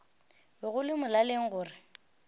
be go le molaleng gore